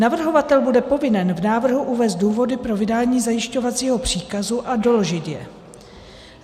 Navrhovatel bude povinen v návrhu uvést důvody pro vydání zajišťovacího příkazu a doložit je.